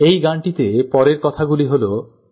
এই গানটিতে পরের কথাগুলি হল